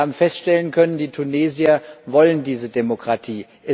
Wir haben feststellen können, die Tunesier wollen diese Demokratie.